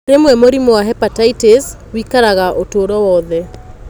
Rĩmwe mũrimũ wa hepatitis wĩkaraga ũtũũro wothe.